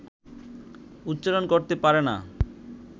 উচ্চারণ করতে পারে না